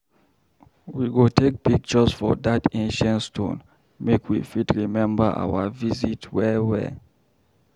We go take pictures for dat ancient stones make we fit remember our visit well well.